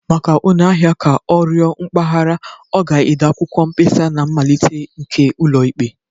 Maka onye ahịa ka ọ rịọ mgbaghara, ọ ga-ede akwụkwọ mkpesa na mmalite nke ụlọikpe